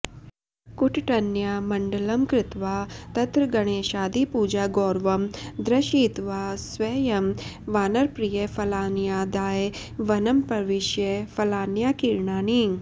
कुट्टन्या मण्डलं कृत्वा तत्र गणेशादिपूजागौरवं दर्शयित्वा स्वयं वानरप्रियफलान्यादाय वनं प्रविश्य फलान्याकीर्णानि